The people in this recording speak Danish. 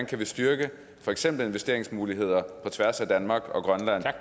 kan styrke for eksempel investeringsmuligheder på tværs af danmark og grønland